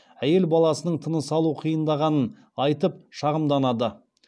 әйел баласының тыныс алуы қиындағанын айтып шағымданады